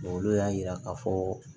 olu y'a yira k'a fɔ